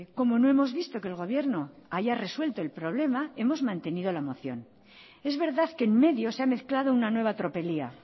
como no hemos visto que el gobierno haya resuelto el problema hemos mantenido la moción es verdad que en medio se ha mezclado una nueva tropelía